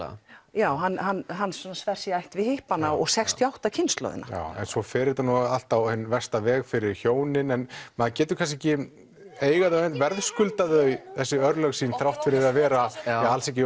já hann hann sver sig í ætt við hippana og sextíu og átta kynslóðina en svo fer þetta allt á hinn versta veg fyrir hjónin en maður getur kannski ekki verðskulda þau þessi örlög sín þrátt fyrir að vera alls ekki